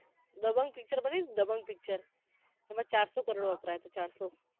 Dabangg picture બનીને Dabangg picture એમા ચારસો કરોડ વપરાયા તા ચારસો કરોડ